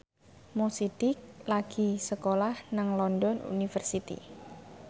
Mo Sidik lagi sekolah nang London University